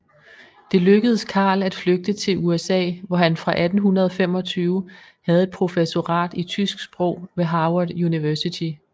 Det lykkedes Karl at flygte til USA hvor han fra 1825 havde et professorat i tysk sprog ved Harvard University